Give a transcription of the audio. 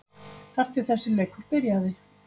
Þar til þessi leikur byrjaði.